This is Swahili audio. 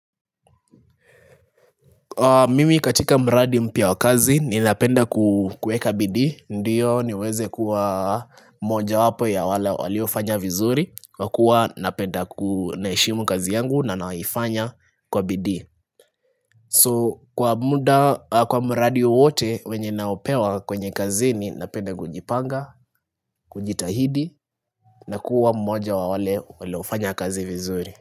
Mimi katika mradi mpya wakazi ni napenda kueka bidii Ndiyo niweze kuwa moja wapo ya wale waliofanya vizuri Kwa kuwa napenda ku naheshimu kazi yangu na naifanya kwa bidii So kwa muda kwa mradi wowote wenye naopewa kwenye kazi ni napenda kujipanga, kujitahidi na kuwa mmoja wa wale waliofanya kazi vizuri.